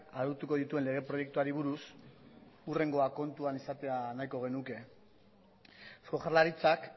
arautuko dituen lege proiektuari buruz hurrengoa kontuan izatea nahiko genuke eusko jaurlaritzak